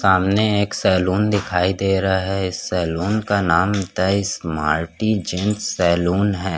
सामने एक सलून दिखाई दे रहा हैं सलून का नाम स्मार्टी जेंट्स सलून हैं।